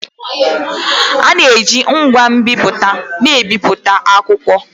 A na-eji ngwa nbipute na-ebipụta akwụkwọ